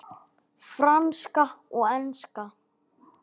Franska og enska.